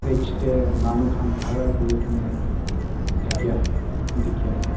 itge teh manu khan khara kuri ke ne thakia dikhia ase.